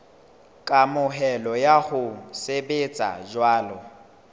kamohelo ya ho sebetsa jwalo